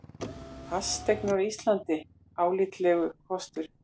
Fasteignir á Íslandi álitlegur kostur